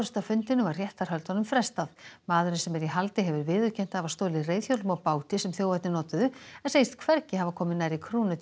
af fundinum var réttarhöldunum frestað maðurinn sem er í haldi hefur viðurkennt að hafa stolið reiðhjólum og báti sem þjófarnir notuðu en segist hvergi hafa komið nærri